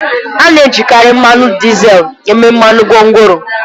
A na-ejikarị mmanụ dizel eme mmanụ gwongworo